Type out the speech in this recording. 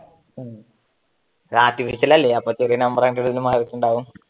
ആർട്ടിഫിഷ്യലല്ലേ ചില നമ്പർ മാറിയിട്ടുണ്ടാകും